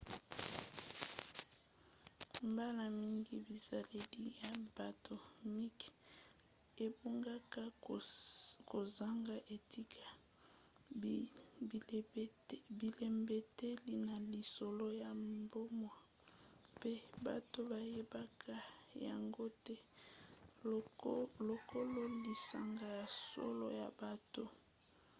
mbala mingi bizaleli ya bato mike ebungaka kozanga etika bilembeteli na lisolo ya bomoi mpe bato bayebaka yango te lokolo lisanga ya solo ya bato